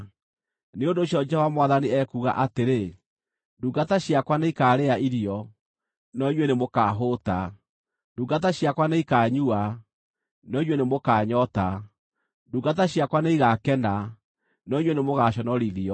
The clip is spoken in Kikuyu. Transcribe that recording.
Nĩ ũndũ ũcio Jehova Mwathani ekuuga atĩrĩ: “Ndungata ciakwa nĩikaarĩa irio, no inyuĩ nĩmũkahũũta; ndungata ciakwa nĩikaanyua, no inyuĩ nĩmũkanyoota; ndungata ciakwa nĩigakena, no inyuĩ nĩmũgaconorithio.